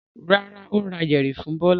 Rárá, ó ra yẹ̀rì fún Bọ́lá.